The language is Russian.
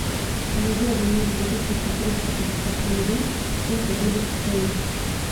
помоги обменять две тысячи триста пятьдесят тенге сколько будет стоить